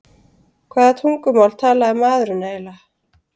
Hvaða tungumál talaði maðurinn eiginlega?